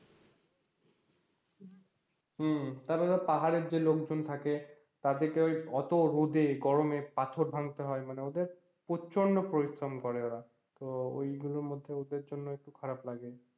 হম তারপর পাহাড়ে যে লোকজন থাকে তাদেরকে ওই অত রোদে গরমে পাথর ভাঙতে হয় মানে ওদের প্রচন্ড পরিশ্রম করে ওরা তো ওই গুলোর মধ্যে ওদের জন্য খারাব লাগে